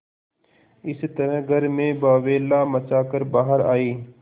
इस तरह घर में बावैला मचा कर बाहर आये